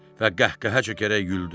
və qəhqəhə çəkərək güldü.